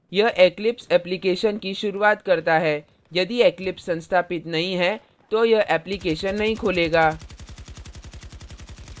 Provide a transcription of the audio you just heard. यह eclipse application की शुरूआत करता है यदि eclipse संस्थापित नहीं है तो यह application नहीं खोलेगा